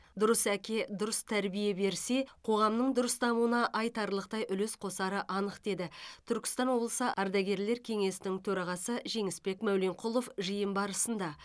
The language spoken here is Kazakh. дұрыс әке дұрыс тәрбие берсе қоғамның дұрыс дамуына айтарлықтай үлес қосары анық деді түркістан облысы ардагерлер кеңесінің төрағасы жеңісбек мәуленқұлов жиын барысында